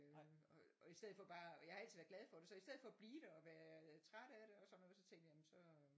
øh og i stedet for bare og jeg har altid været glad for det så i stedet for bare at blive der og være træt af det og sådan noget så tænkte jeg jamen så øh